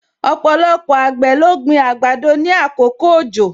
Ọpọlọpọ àgbẹ̀ ló gbin àgbàdo ni àkókò òjò